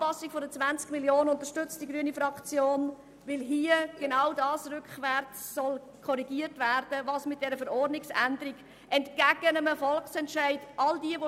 Die Anpassung der 20 Mio. Franken unterstützt die grüne Fraktion, weil damit genau das rückwärts korrigiert werden soll, was mit dieser Verordnungsänderung entgegen dem Volksentscheid gemacht wurde.